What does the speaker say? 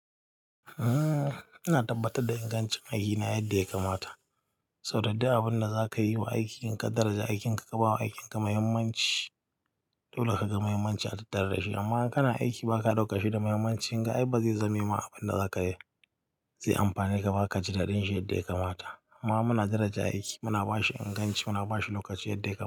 Ina tabbatar da ingancin aikina yadda ya kamata, sau da dai abin da za ka yi wa aikin ka daraja, aikin ka ka ba wa aikin ka mahimmanci, dole ka ga mahimmanci a tattara shi. Amma in kana aiki ba ka ɗauka shi da muhimmanci, in ga ai ba zai zama ma abin da za ka yi zai amfane ka ba ka ji daɗin shi yadda ya kamata. Amma muna daraja aiki, muna ba shi inganci, muna ba shi lokaci yadda ya kamata.